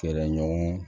Fɛɛrɛ ɲɔgɔn